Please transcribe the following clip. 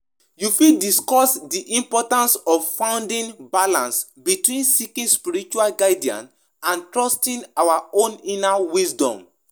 Understand say faith na personal work no be group something